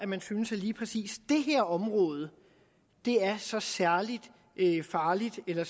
man synes at lige præcis det her område er så særlig farligt eller